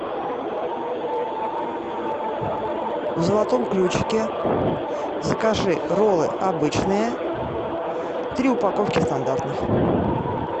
в золотом ключике закажи роллы обычные три упаковки стандартных